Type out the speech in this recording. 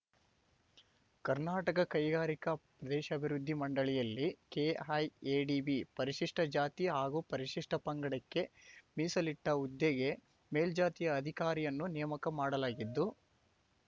ಕರ್ನಾಟಕ ಕೈಗಾರಿಕಾ ಪ್ರದೇಶಾಭಿವೃದ್ಧಿ ಮಂಡಳಿಯಲ್ಲಿ ಕೆಐಎಡಿಬಿ ಪರಿಶಿಷ್ಟ ಜಾತಿ ಹಾಗೂ ಪರಿಶಿಷ್ಟ ಪಂಗಡಕ್ಕೆ ಮೀಸಲಿಟ್ಟ ಹುದ್ದೆಗೆ ಮೇಲ್ಜಾತಿಯ ಅಧಿಕಾರಿಯನ್ನು ನೇಮಕ ಮಾಡಲಾಗಿದ್ದು